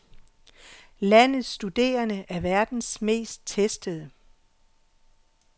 Landets studerende er verdens mest testede.